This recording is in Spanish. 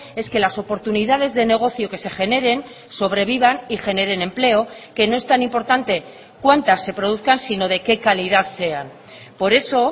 es que las oportunidades de negocio que se generen sobrevivan y generen empleo que no es tan importante cuántas se produzcan sino de qué calidad sean por eso